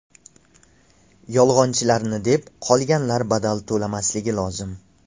Yolg‘onchilarni deb qolganlar badal to‘lamasligi lozim.